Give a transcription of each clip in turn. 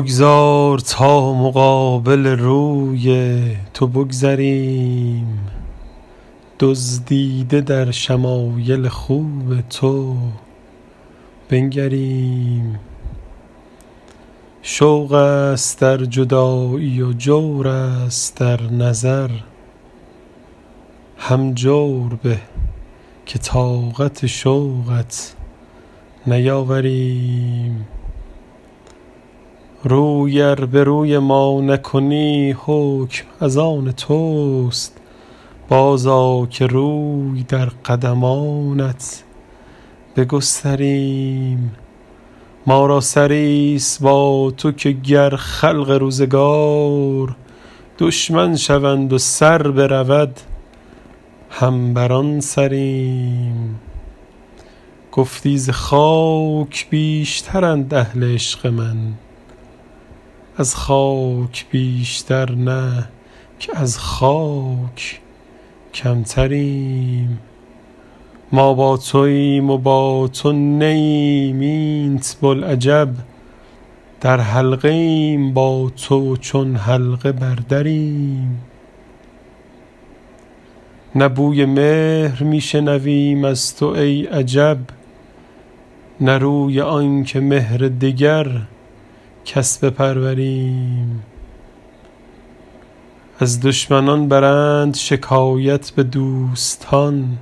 بگذار تا مقابل روی تو بگذریم دزدیده در شمایل خوب تو بنگریم شوق است در جدایی و جور است در نظر هم جور به که طاقت شوقت نیاوریم روی ار به روی ما نکنی حکم از آن توست بازآ که روی در قدمانت بگستریم ما را سری ست با تو که گر خلق روزگار دشمن شوند و سر برود هم بر آن سریم گفتی ز خاک بیشترند اهل عشق من از خاک بیشتر نه که از خاک کمتریم ما با توایم و با تو نه ایم اینت بلعجب در حلقه ایم با تو و چون حلقه بر دریم نه بوی مهر می شنویم از تو ای عجب نه روی آن که مهر دگر کس بپروریم از دشمنان برند شکایت به دوستان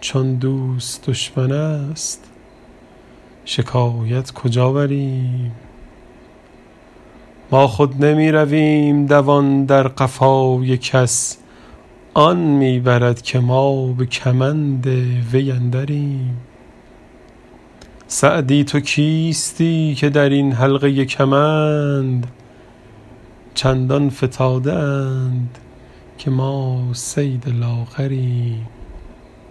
چون دوست دشمن است شکایت کجا بریم ما خود نمی رویم دوان در قفای کس آن می برد که ما به کمند وی اندریم سعدی تو کیستی که در این حلقه کمند چندان فتاده اند که ما صید لاغریم